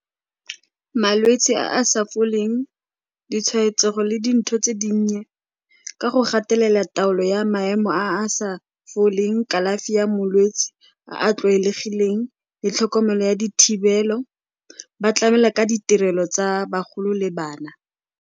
Malwetsi a a sa foleng, ditshwaetsego le dintho tse dinnye, ka go gatelela taolo ya maemo a a sa foleng, kalafi ya molwetsi a a tlwaelegileng le tlhokomelo ya dithibelo, ba tlamela ka ditirelo tsa bagolo le bana.